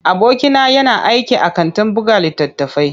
Abokina yana aiki a kantin buga littattafai.